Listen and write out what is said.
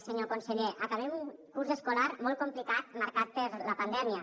senyor conseller acabem un curs escolar molt complicat marcat per la pandèmia